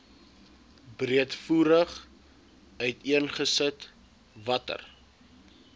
breedvoerig uiteengesit watter